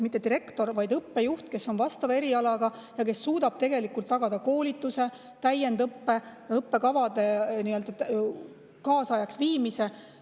Mitte direktor, vaid õppejuht, kes on vastava eriala, suudab tagada koolituse, täiendõppe ja õppekavade kaasajastamise.